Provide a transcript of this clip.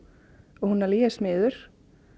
og hún alveg ég er smiður